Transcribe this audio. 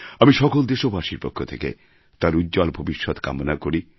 আমি সকল দেশবাসীর পক্ষ থেকে তাঁর উজ্জ্বল ভবিষ্যত কামনা করি